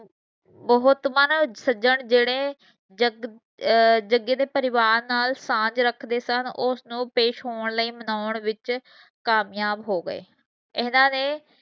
ਬਹੁਤ ਮਨ ਸਜਨ ਜੇਡੇ ਜਗ ਅਹ ਜਗੇ ਦੇ ਪਰਿਵਾਰ ਨਾਲ ਸਾਂਜ ਰੱਖਦੇ ਸਨ ਉਹ ਉਸਨੂੰ ਪੇਸ਼ ਹੋਣ ਲਈ ਮਨੋਨ ਵਿੱਚ ਕਾਮਯਾਬ ਹੋ ਗਏ ਇਹਨਾਂ ਨੇ